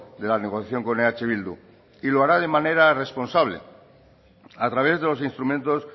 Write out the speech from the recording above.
de la negociación con eh bildu y lo hará de manera responsable a través de los instrumentos